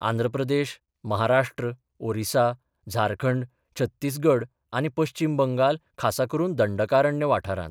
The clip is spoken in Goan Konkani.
आंध्र प्रदेश, महाराष्ट्र, ओरिसा, झारखंड, छत्तीसगढ आनी पश्चिम बंगाल खासा करून दंडकारण्य वाठारांत.